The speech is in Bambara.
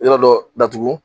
Yɔrɔ dɔ datugu